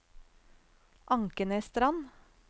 Ankenesstrand